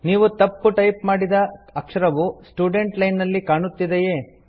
ನೀವು ತಪ್ಪು ಟೈಪ್ ಮಾಡಿದ ಅಕ್ಷರವು ಸ್ಟುಡೆಂಟ್ ಲೈನ್ ನಲ್ಲಿ ಕಾಣುತ್ತದೆಯೇ